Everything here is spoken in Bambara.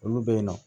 Olu bɛ yen nɔ